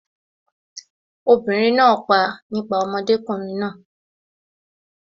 obìnrin náà pa nípa ọmọdékùnrin náà